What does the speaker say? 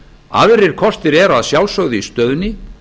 aðrir kostir eru að sjálfsögðu í stöðunni